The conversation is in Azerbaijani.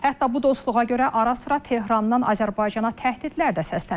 Hətta bu dostluğa görə ara-sıra Tehrandan Azərbaycana təhdidlər də səslənib.